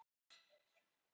Tólf börn létu lífið